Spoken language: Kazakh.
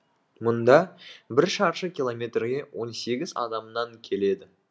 мұнда бір шаршы километрге он сегіз адамнан келеді